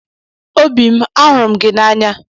Obi m! ahụrụ m gị n'anya!